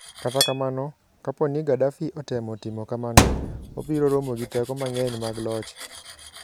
Kata kamano, kapo ni Gaddafi otemo timo kamano, obiro romo gi teko mang'eny mag loch.